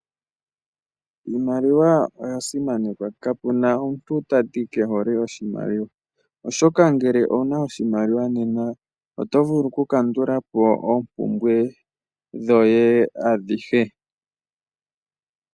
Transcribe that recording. Iimaliwa oya simanekwa kapuna omuntu tati kehole oshimaliwa oshoka ngele owuna oshimaliwa nena oto vulu oku kandulapo oompumbwe dhoye adhihe.